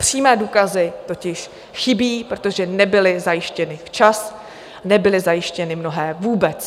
Přímé důkazy totiž chybí, protože nebyly zajištěny včas, nebyly zajištěny mnohé vůbec.